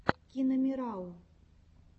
киномирару